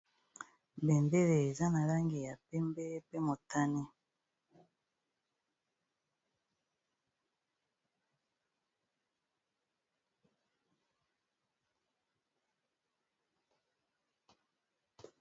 bembele eza na langi ya pembe pe motani